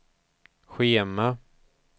schema